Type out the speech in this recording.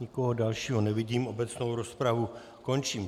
Nikoho dalšího nevidím, obecnou rozpravu končím.